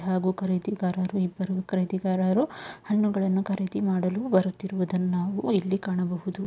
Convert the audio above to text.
ಹಾಗು ಖರೀದಿಗಾಗರು ಇಬ್ಬರು ಖರೀದಿಗಾಗರು ಖರೀದಿ ಮಾಡಲು ಬರುತ್ತಿರುವುದನ್ನು ನಾವು ಇಲ್ಲಿ ಕಾಣಬಹುದು.